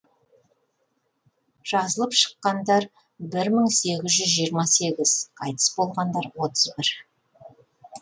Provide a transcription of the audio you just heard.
жазылып шыққандар бір мың сегіз жүз жиырма сегіз қайтыс болғандар отыз бір